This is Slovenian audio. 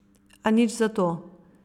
A nič zato.